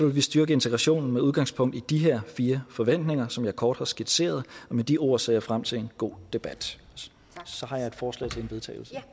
vi styrke integrationen med udgangspunkt i de fire forventninger som jeg kort har skitseret og med de ord ser jeg frem til en god debat så har jeg et forslag til vedtagelse